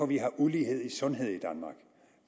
vi har ulighed i sundhed